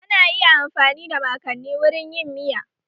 Ana iya amfani da mankani wurin yin miya